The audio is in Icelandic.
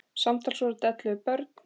Samtals voru þetta ellefu börn.